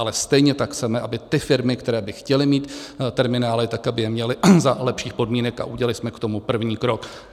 Ale stejně tak chceme, aby ty firmy, které by chtěly mít terminály, tak aby je měly za lepších podmínek, a udělali jsme k tomu první krok.